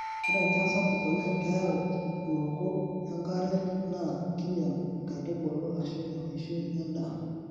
Ore enchan sapuk oleng keyau uruko engare naa kinyal nkaitubulu ashu eishoi endaa.